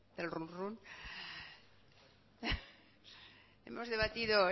del runrún hemos debatido